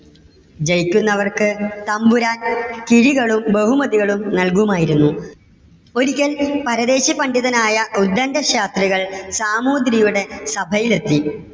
ജയിക്കുന്നവർക്ക് തമ്പുരാൻ കിഴികളും ബഹുമതികളും നൽകുമായിരുന്നു. ഒരിക്കൽ പരദേശി പണ്ഡിതനായ ഉത്ഗണ്ട ശാസ്ത്രികൾ സാമൂതിരിയുടെ സഭയിൽ എത്തി.